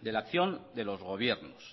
de la acción de los gobiernos